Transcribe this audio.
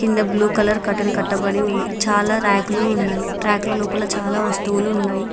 కింద blue colour curtain కట్టబడి ఉంది చాలా ర్యాక్ లు ఉన్నాయి ర్యాక్ ల లోపల చాలా వస్తువులు ఉన్నాయి.